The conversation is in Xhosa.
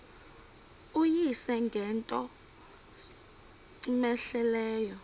uyise ngento cmehleleyo